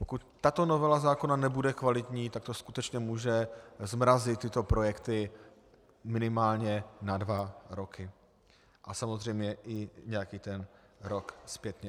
Pokud tato novela zákona nebude kvalitní, tak to skutečně může zmrazit tyto projekty minimálně na dva roky a samozřejmě i nějaký ten rok zpětně.